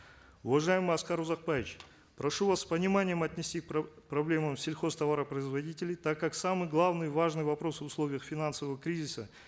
уважаемый аскар узакбаевич прошу вас с пониманием отнестись к проблемам сельхозтоваропроизводителей так как самый главный важный вопрос в условиях финансового кризиса